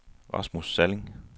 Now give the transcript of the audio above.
Rasmus Salling